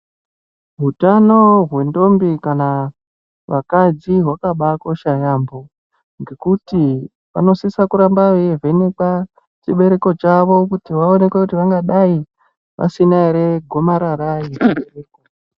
Utano hwedhombi kana vakadzi hwakabakosha yaamho ngekuti vanosise kuramba veivhenekwa chibereko chavo kuti vaonekwe kuti vangadai vasina ere gomarara rechibereko.